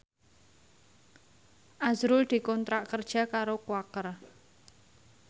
azrul dikontrak kerja karo Quaker